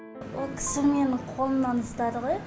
ол кісі менің қолымнан ұстады ғой